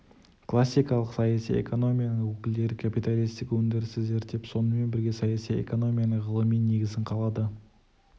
классикалық саяси экономияның өкілдері капиталистік өндірісті зерттеп сонымен бірге саяси экономияның ғылыми негізін қалады